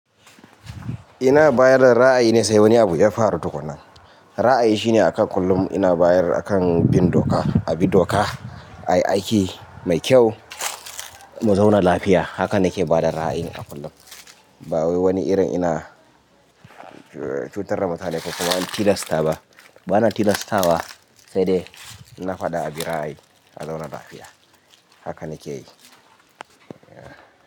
Ina bayar da ra'ayi ne sai wani abu ya faru tukuna. Ra'ayi shine a kan kullum ina bayar akan bin doka, a bi doka, a yi aiki mai kyau, mu zauna lafiya. Haka nake ba da ra'ayi a kullum. Ba wani irin ina cutar da mutane ko kuma ina tilasta ba. Ba na tilastawa, sai dai in na faɗa a bi ra'ayi, a zauna lafiya. Haka nake yi.